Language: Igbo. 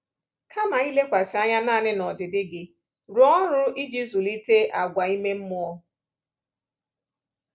Kama ilekwasị anya nanị n’ọdịdị gị, rụọ ọrụ iji zụlite àgwà ime mmụọ.